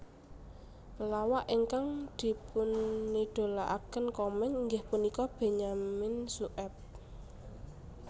Pelawak ingkang dipunidolakaken Komeng inggih punika Benyamin Sueb